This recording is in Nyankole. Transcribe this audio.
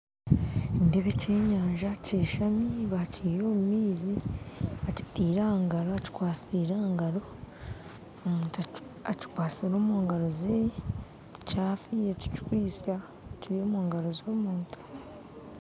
Nindeeba eky'enyanja kyeshami bakiiha omu maizi bakitaire aha ngaro bakikwatire aha ngaro omuntu akikwasire omu ngaro ze kyafiire tikikwitsya kiri omu ngaro z'omuntu